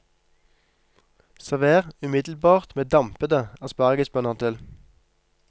Server umiddelbart med dampede aspargesbønner til.